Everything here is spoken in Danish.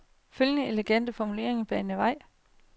Følgende elegante formulering banede vejen.